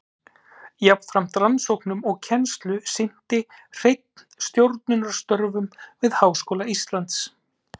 Jafnframt rannsóknum og kennslu sinnti Hreinn stjórnunarstörfum við Háskóla Íslands.